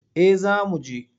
Eh za mu je.